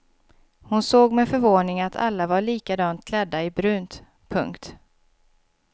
Hon såg med förvåning att alla var likadant klädda i brunt. punkt